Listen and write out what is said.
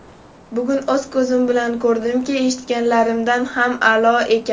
Bugun o‘z ko‘zim bilan ko‘rdimki, eshitganlarimdan ham a’lo ekan.